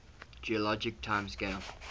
geologic time scale